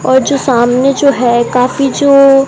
और जो सामने जो है काफी जो--